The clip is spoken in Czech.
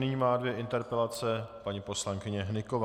Nyní má dvě interpelace paní poslankyně Hnyková.